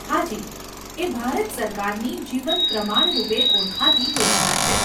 હાજી, એ ભારત સરકારની જીવન પ્રમાણ રૂપે ઓળખાતી યોજના છે.